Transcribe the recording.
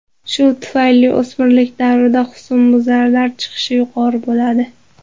Shu tufayli o‘smirlik davrida husnbuzarlar chiqishi yuqori bo‘ladi.